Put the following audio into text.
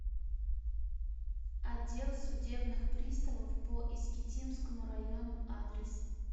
отдел судебных приставов по искитимскому району адрес